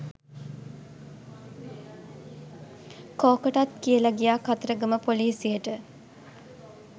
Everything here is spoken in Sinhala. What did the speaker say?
කෝකටත් කියල ගියා කතරගම පොලිසියට